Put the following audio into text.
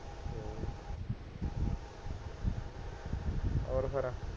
ਹੋਰ ਫੇਰ